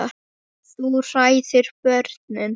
Þú hræðir börnin.